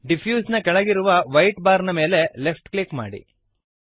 diffuse ನ ಕೆಳಗಿರುವ white bar ನ ಮೇಲೆ ಲೆಫ್ಟ್ ಕ್ಲಿಕ್ ಮಾಡಿರಿ